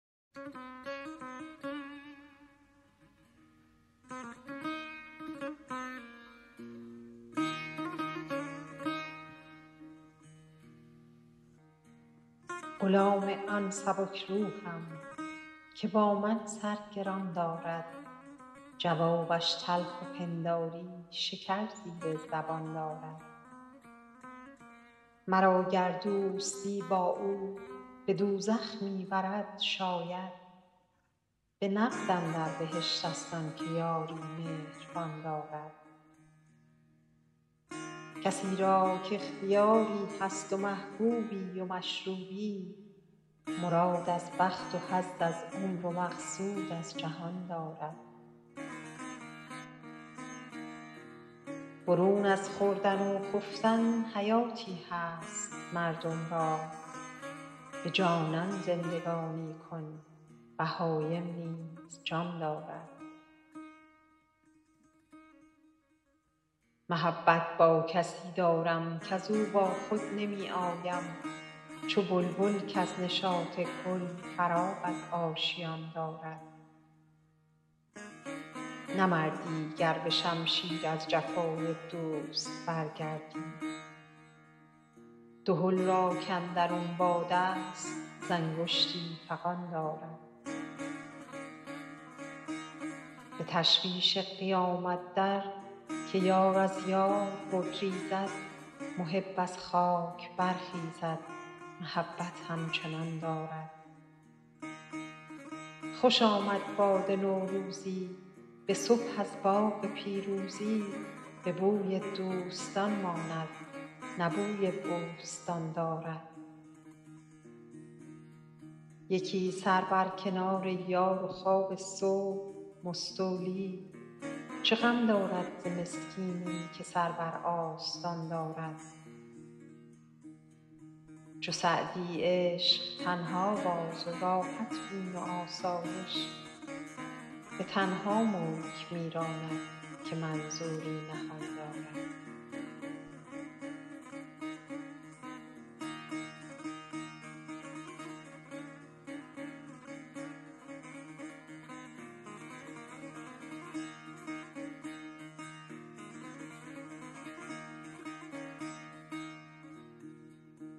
غلام آن سبک روحم که با من سر گران دارد جوابش تلخ و پنداری شکر زیر زبان دارد مرا گر دوستی با او به دوزخ می برد شاید به نقد اندر بهشت ست آن که یاری مهربان دارد کسی را کاختیاری هست و محبوبی و مشروبی مراد از بخت و حظ از عمر و مقصود از جهان دارد برون از خوردن و خفتن حیاتی هست مردم را به جانان زندگانی کن بهایم نیز جان دارد محبت با کسی دارم کز او با خود نمی آیم چو بلبل کز نشاط گل فراغ از آشیان دارد نه مردی گر به شمشیر از جفای دوست برگردی دهل را کاندرون باد است ز انگشتی فغان دارد به تشویش قیامت در که یار از یار بگریزد محب از خاک برخیزد محبت همچنان دارد خوش آمد باد نوروزی به صبح از باغ پیروزی به بوی دوستان ماند نه بوی بوستان دارد یکی سر بر کنار یار و خواب صبح مستولی چه غم دارد ز مسکینی که سر بر آستان دارد چو سعدی عشق تنها باز و راحت بین و آسایش به تنها ملک می راند که منظوری نهان دارد